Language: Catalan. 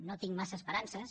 no hi tinc massa esperances